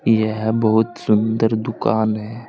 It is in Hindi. यह बहुत सुंदर दुकान है।